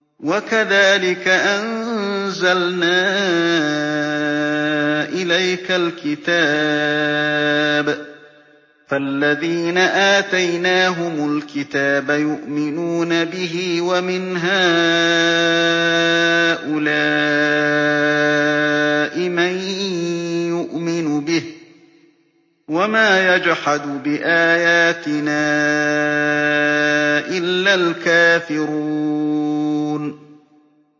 وَكَذَٰلِكَ أَنزَلْنَا إِلَيْكَ الْكِتَابَ ۚ فَالَّذِينَ آتَيْنَاهُمُ الْكِتَابَ يُؤْمِنُونَ بِهِ ۖ وَمِنْ هَٰؤُلَاءِ مَن يُؤْمِنُ بِهِ ۚ وَمَا يَجْحَدُ بِآيَاتِنَا إِلَّا الْكَافِرُونَ